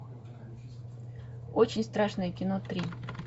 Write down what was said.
очень страшное кино три